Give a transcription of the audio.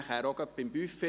Dazu möchte ich sagen: